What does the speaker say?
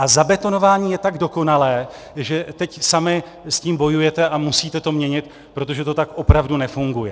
A zabetonování je tak dokonalé, že teď sami s tím bojujete a musíte to měnit, protože to tak opravdu nefunguje.